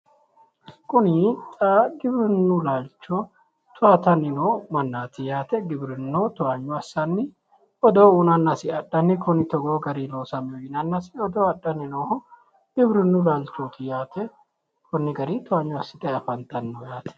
Kuni xa giwirinnu laalcho toyaatanni noo mannaati yaate giwirinnu toyaanyo assaanni odoo uyiinannas i adhanni kuni togoo gari loosannoho yinannasi odoo adhanni nooho giwirinnu laalchooti yaate konni garinni toyaanyo assitayi afantanno yaate.